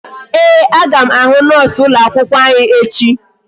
Ee, aga m ahụ noosu ụlọ akwụkwọ anyị echi